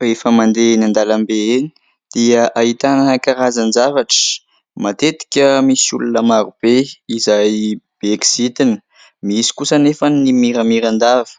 Rehefa mandeha eny andalambe eny dia ahitana karazan-javatra. Matetika misy olona marobe izay be kizitina, misy kosa anefa ny miramiran-dava.